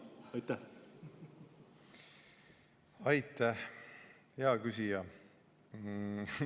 Aitäh, hea küsija!